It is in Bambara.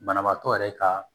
Banabaatɔ yɛrɛ ka